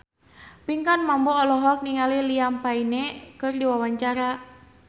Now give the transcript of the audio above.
Pinkan Mambo olohok ningali Liam Payne keur diwawancara